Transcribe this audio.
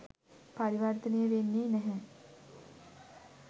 පරිවර්තනය වෙන්නේ නැහැ.